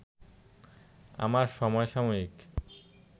আমার সমসাময়িক